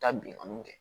Taa binganiw kɛ